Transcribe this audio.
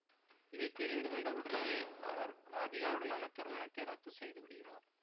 இதை தெரிந்துகொண்ட உடனேயே அவர் ராதிகாவுடனான திருமணத்தை ரத்து செய்துவிடுகிறார்